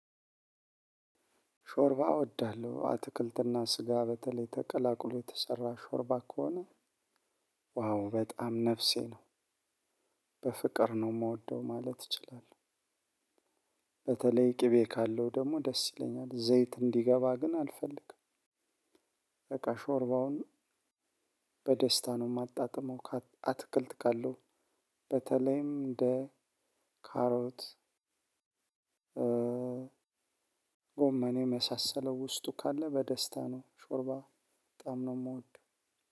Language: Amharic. ሾርባ እወዳለሁ አትክልትና ስጋ በተለይ ተቀላቅሎ የተሰራ ሾርባ ከሆነ ዋው በጣም ነፍሴ ነው። በፍቅር ነው የምወደው ማለት እችላለሁ። በተለይ ቅቤ ካለው ደግሞ ደስ ይለኛል ዘይት እንዲገባ ግን አልፈልግም። በቃ ሾርባውን በደስታ ነው የማጣጥመው። አትክልት ካለው በተለይም እንደ ካሮት። ጎመን የመሳሰለው ውስጡ ካለ በደስታ ነው ሾርባ በጣም ነው የምወደው።